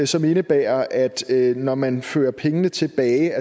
som indebærer at når man fører pengene tilbage